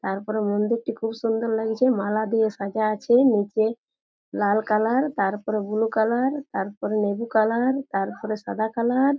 তারপরে মন্দিরটি খুব সুন্দর লাগছে মালা দিয়ে সাজা আছে নিচে লাল কালার তারপরে বুলু কালার তারপরে তারপরে লেবু কালার তারপরে সাদা কালার --